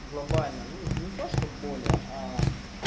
глобальна ну не то чтобы более а